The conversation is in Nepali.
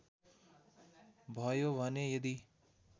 भयो भने यदि